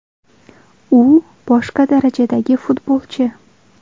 U – boshqa darajadagi futbolchi”.